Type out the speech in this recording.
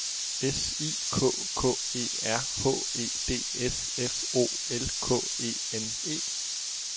S I K K E R H E D S F O L K E N E